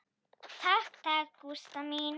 Takk takk, Gústa mín.